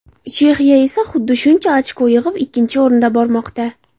Chexiya esa xuddi shuncha ochko yig‘ib ikkinchi o‘rinda bormoqda.